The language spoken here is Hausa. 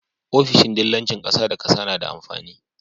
ofishin dillancin ƙasa da ƙasa nada amfani